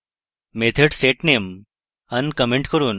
method setname uncomment করুন